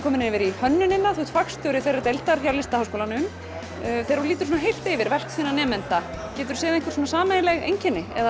komin yfir í hönnunina þú ert fagstjóri þeirrar deildar hjá Listaháskólanum þegar þú lítur heilt yfir verk þinna nemenda geturðu séð einhver sameiginleg einkenni eða